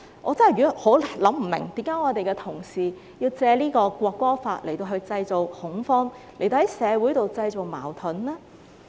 我真的想不通為何同事要藉《條例草案》來製造恐慌，製造社會矛盾呢？